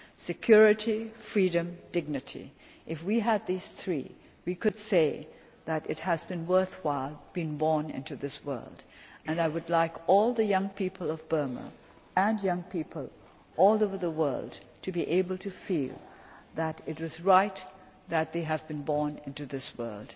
Security, freedom, dignity if we had these three, we could say that it has been worthwhile being born into this world, and I would like all the young people of Burma and all over the world to be able to feel that it was right that they have been born into this